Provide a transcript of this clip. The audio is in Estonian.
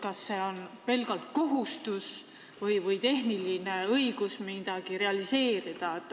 Kas see on tänapäeval pelgalt kohustus või tehniline õigus midagi realiseerida?